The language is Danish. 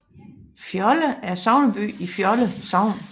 Fjolde er sogneby i Fjolde Sogn